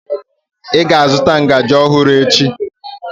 Ị ga-azụta ngaji ọhụrụ echi!